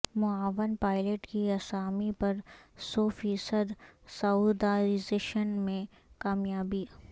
معاون پائلٹ کی اسامی پر سو فیصد سعودائزیشن میں کامیابی